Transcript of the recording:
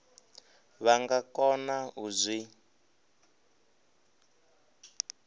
vha nga kona u zwi